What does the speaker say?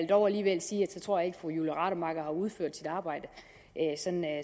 dog alligevel sige at så tror jeg ikke at fru julie rademacher har udført sit arbejde